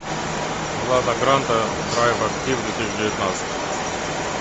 лада гранта драйв актив две тысячи девятнадцать